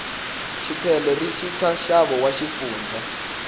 chukele ri chicha xavo wa xifundza